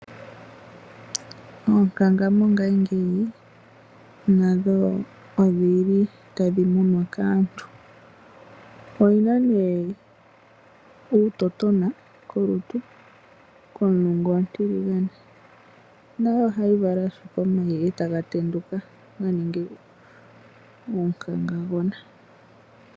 Oonkanga mongashingeyi nadho odhi li tadhi munwa kaantu. Oyi na nee uutotono kolutu, komulungu ontiligane. Nayo ohayi vala omayi eta ga tenduka ga ninge uunkangagona.